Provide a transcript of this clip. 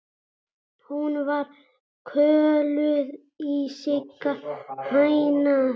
Hún var kölluð Sigga hæna.